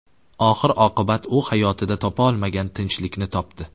Oxir-oqibat u hayotida topa olmagan tinchlikni topdi.